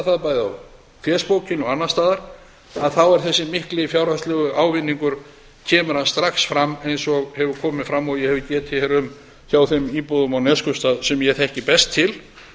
það bæði á fésbókinni og annars staðar að þá er þessi mikil fjárhagslega ávinningur kemur hann strax fram eins og hefur komið fram og ég hef getið hér um hjá þeim íbúum á neskaupstað sem ég þekki best til